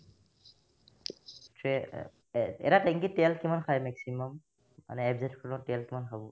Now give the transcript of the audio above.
এহ্ এটা টেংকিত তেল কিমান খাই maximum মানে FZ খনত তেল কিমান খাব ?